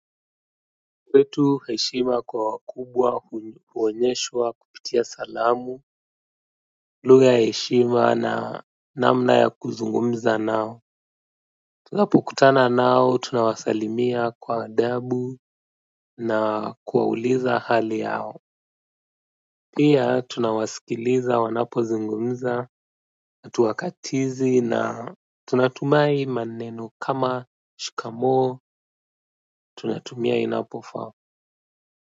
Kwetu heshima kwa wakubwa huonyeshwa kupitia salamu lugha ya heshima na namna ya kuzungumza nao. Tunapokutana nao tunawasalimia kwa adabu na kuwauliza hali yao pia tunawasikiliza wanapozungumza hatuwakatizi na tunatumia maneno kama shikamoo tunatumia inapofaa kwa hivyo.